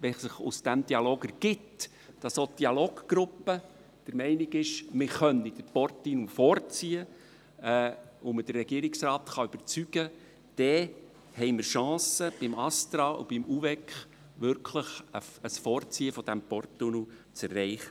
Wenn es sich aus diesem Dialog ergibt, dass auch die Dialoggruppe der Meinung ist, man könne den Porttunnel vorziehen und man den Regierungsrat überzeugen kann, denn haben wir Chancen beim ASTRA und beim UVEK, wirklich ein Vorziehen des Porttunnels zu erreichen.